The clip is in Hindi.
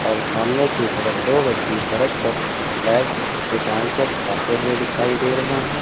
और सामने की तरफ दो व्यक्ति सड़क पर बैग पीछे टांग कर जाते हुए दिखाई दे रहें है।